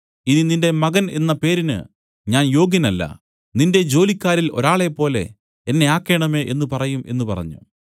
ഇനി നിന്റെ മകൻ എന്ന പേരിന് ഞാൻ യോഗ്യനല്ല നിന്റെ ജോലിക്കാരിൽ ഒരാളെപ്പോലെ എന്നെ ആക്കേണമേ എന്നു പറയും എന്നു പറഞ്ഞു